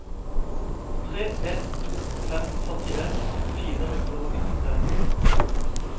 tre en to fem førtien fire hundre og nittitre